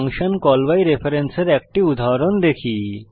function call by reference এর একটি উদাহরণ দেখি